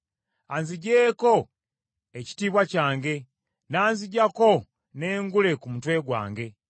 Anziggyeeko ekitiibwa kyange n’anziggyako n’engule ku mutwe gwange.